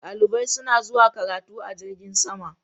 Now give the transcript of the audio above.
Dalibai suna zuwa karatu a jirgin sama.